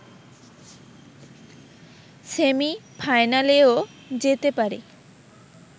সেমি-ফাইনালেও যেতে পারি